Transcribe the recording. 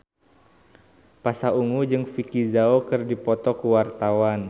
Pasha Ungu jeung Vicki Zao keur dipoto ku wartawan